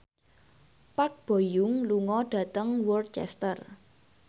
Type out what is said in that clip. Park Bo Yung lunga dhateng Worcester